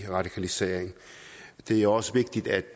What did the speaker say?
radikaliseringen det er også vigtigt at